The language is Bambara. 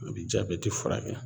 A bi jabɛti furakɛ